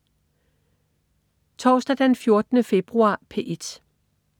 Torsdag den 14. februar - P1: